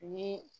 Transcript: Ni